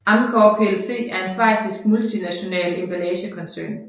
Amcor plc er en schweizisk multinational emballagekoncern